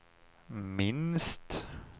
minst